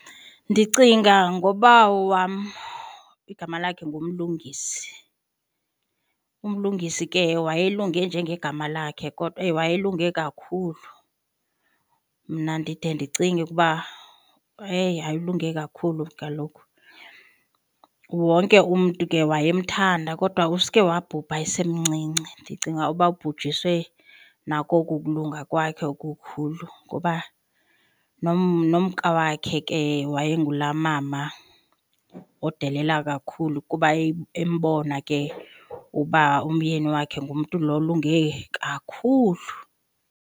Ndicinga ngobawo wam igama lakhe nguMlungisi. UMlungisi ke wayelunge njenge gama lakhe kodwa eyi wayelunge kakhulu. Mna ndide ndicinge ukuba eyi, hayi ulunge kakhulu kaloku. Wonke umntu ke wayemthanda kodwa usuke wabhubha esemncinci, ndicinga uba ubujiswe nako oku kulunga kwakhe okukhulu ngoba nomka wakhe ke waye ngulaa mama odelela kakhulu kuba embona ke uba umyeni wakhe ngumntu lo olunge kakhulu.